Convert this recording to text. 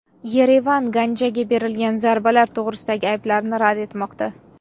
Yerevan Ganjaga berilgan zarbalar to‘g‘risidagi ayblovlarni rad etmoqda.